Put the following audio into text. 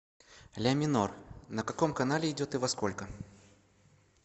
ля минор на каком канале идет и во сколько